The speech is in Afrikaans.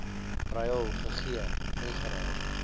ruil gegee ingeruil